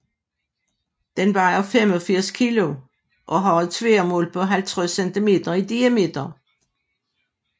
Den vejer 85 kg og har et tværmål på 50 cm i diameter